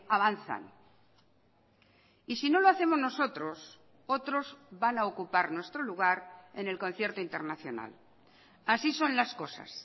avanzan y si no lo hacemos nosotros otros van a ocupar nuestro lugar en el concierto internacional así son las cosas